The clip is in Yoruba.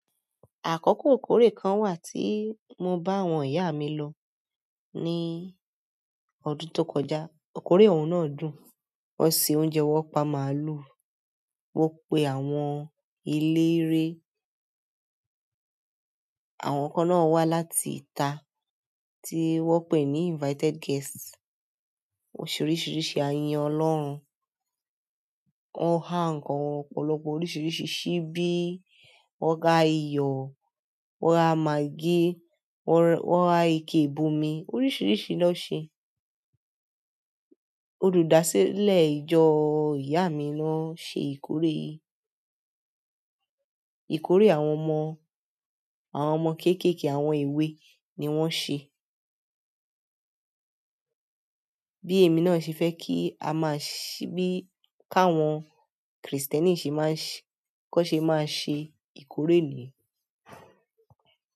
Àkọ́kọ́ ìkórè kan wà tí mo bá àwọn ìyá mi lọ ní ọdún tó kọjá. Ìkórè ọ̀wọ́n náà dùn. Wọ́n se oúnjẹ, wọ́n pa màálù, wọ́n pe àwọn eléré. Àwọn kan náà wá láti ìta tí wọ́n ń pè ní invited guests. Oríṣìíríṣìí a yín ọlọ́run. Wọ́n há ǹkan ọ̀pọ̀lọpọ̀ oríṣìíríṣìí síbí wọn gá iyọ̀, won ha maggi, won ha ike ìbomi oríṣìíríṣìí lo ṣe. Olùdásílẹ̀ ìjọ ìyá mi ló ń ṣe ìkórè yìí. Ìkórè àwọn ọmọ, àwọn ọmọ kéékèèké àwọn èwe ni wọ́n ń ṣe. Bí èmi náà ṣe fẹ́ kí a máa ṣì bí káwọn Kristẹni se ma,- kan ṣe máa ṣe ìkórè niyen.